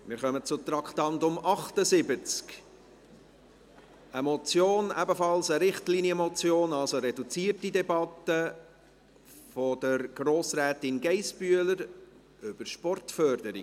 Wir kommen zum Traktandum 78, ebenfalls eine Richtlinienmotion mit reduzierter Debatte von Grossrätin Geissbühler über Sportförderung.